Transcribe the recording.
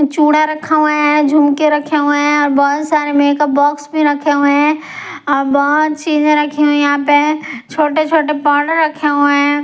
चूड़ा रखा हुआ है झुमके रखे हुए हैं और बहुत सारे मेकअप बॉक्स भी रखे हुए हैं और बहुत चीजें रखी हुई यहां पे छोटे-छोटे पार्टर रखे हुए हैं।